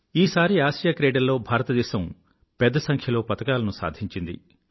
ఈసారి ఆసియా క్రీడల్లో భారతదేశం పెద్ద సంఖ్యలో పతకాలను సాధించింది